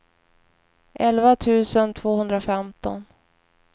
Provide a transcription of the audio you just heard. elva tusen tvåhundrafemton